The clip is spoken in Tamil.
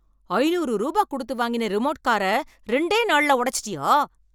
ஐநூறு ரூபா குடுத்து வாங்கின ரிமோட் கார ரெண்டே நாளுல உடச்சிட்டியா?